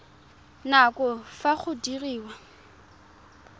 nako ya fa go diriwa